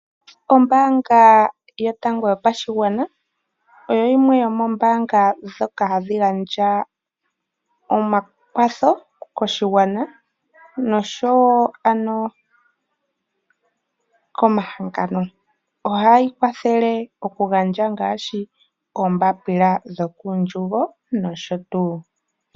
Ombaanga yotango yopashigwana oyo yimwe yomoombaanga ndhoka hadhi gandja omakwatho koshigwana noshowo komahangano. Ohayi kwathele okugandja oombapila dhokokandjugo nosho tuu.